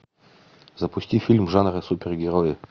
запусти фильм жанра супергерои